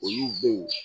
Olu dɔw